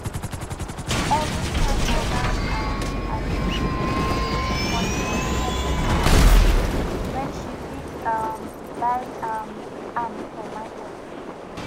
everytime mama um arinze go dey waste money for inside supermarket when she fit um buy um am for market